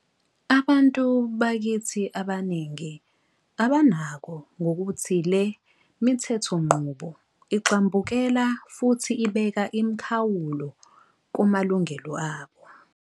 .abantu bakithi abaningi abanako ngokuthi le mithethonqubo igxambukela futhi ibeka imikhawulo kumalungelo abo.